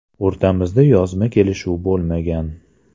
O‘rtamizda yozma kelishuv bo‘lmagan.